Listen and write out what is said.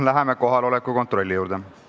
Läheme kohaloleku kontrolli juurde.